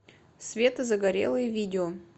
света загорелые видео